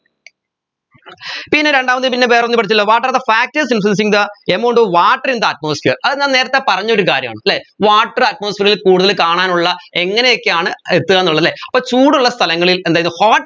പിന്നെ രണ്ടാമത് പിന്നെ വേറൊന്നു പഠിച്ചല്ലോ what are the factors using the amount of water in the atmosphere അത് ഞാൻ നേരെത്തെ പറഞ്ഞൊരു കാര്യമാണ് അല്ലെ water atmosphere ൽ കൂടുതൽ കാണാനുള്ള എങ്ങനെയൊക്കെയാണ് എത്തുക എന്നുളേ അല്ലെ അപ്പോ ചൂടുള്ള സ്ഥലങ്ങളിൽ എന്താത് hot